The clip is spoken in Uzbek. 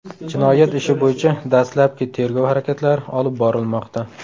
Jinoyat ishi bo‘yicha dastlabki tergov harakatlari olib borilmoqda.